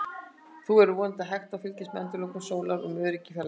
Þá verður vonandi hægt að fylgjast með endalokum sólar úr öruggri fjarlægð.